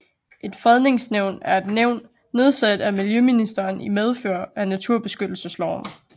Et Fredningsnævn er et nævn nedsat af miljøministeren i medfør af naturbeskyttelsesloven